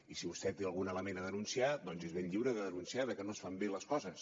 i si vostè té algun element a denunciar doncs és ben lliure de denunciar que no es fan bé les coses